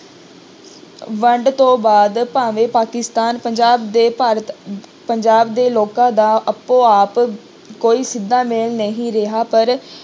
ਵੰਡ ਤੋਂ ਬਾਅਦ ਭਾਵੇਂ ਪਾਕਿਸਤਾਨ ਪੰਜਾਬ ਦੇ ਭਾਰਤ ਪੰਜਾਬ ਦੇ ਲੋਕਾਂ ਦਾ ਆਪੋ ਆਪ ਕੋਈ ਸਿੱਧਾ ਮੇਲ ਨਹੀਂ ਰਿਹਾ ਪਰ